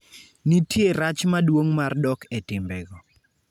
Nitie rach maduong' mar dok e timbego.